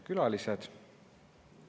Külalised!